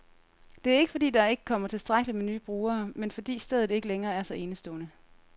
Det er ikke, fordi der ikke kommer tilstrækkeligt med nye brugere, men fordi stedet ikke længere er så enestående.